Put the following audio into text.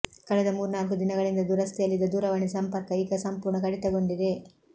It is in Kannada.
ಕಳೆದ ಮೂರ್ನಾಲ್ಕು ದಿನಗಳಿಂದ ದುರಸ್ತಿಯಲ್ಲಿದ್ದ ದೂರವಾಣಿ ಸಂಪರ್ಕ ಈಗ ಸಂಪೂರ್ಣ ಕಡಿತಗೊಂಡಿದೆ